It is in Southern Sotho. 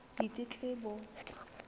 ditletlebo